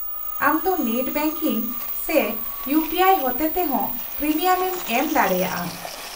-ᱟᱢ ᱫᱚ net banking ᱥᱮ ᱤᱩᱯᱤᱟᱭ ᱦᱚᱛᱮ ᱛᱮ ᱦᱚᱸ ᱯᱨᱤᱢᱤᱭᱟᱢᱮᱢ ᱮᱢ ᱫᱟᱲᱮᱭᱟᱜᱼᱟ ᱾